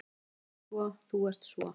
Þú ert svo. þú ert svo.